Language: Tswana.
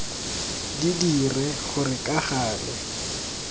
di dire gore ka gale